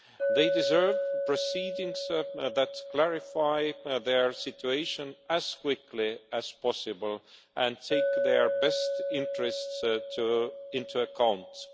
They deserve proceedings that clarify their situation as quickly as possible and take their best interests into account.